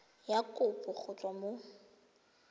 ya kopo go tswa mo